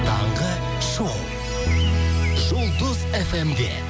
таңғы шоу жұлдыз эф эм де